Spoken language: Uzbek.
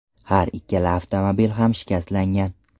Har ikkala avtomobil ham shikastlangan.